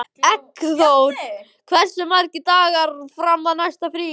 Eggþór, hversu margir dagar fram að næsta fríi?